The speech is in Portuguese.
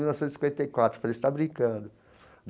Mil novecentos e cinquenta e quatro eu falei você está brincando.